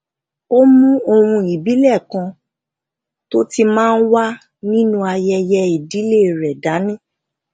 a mú ohun ibile kan tó ti máa ń wà nínú ayẹyẹ ìdílé rẹ dani